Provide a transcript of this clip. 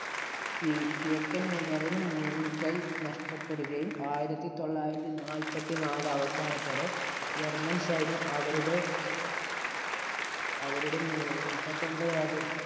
ത്തിനു മുന്‍കൈ നഷ്ടപ്പെടുകയും ആയിരത്തി തൊള്ളായിരത്തി നാല്പത്തി നാല് അവസാനത്തോടെ ജർമ്മൻ സൈന്യം അവരുടെ അവരുടെ മുപ്പത്തി ഒമ്പത് അതിര്‍ത്തി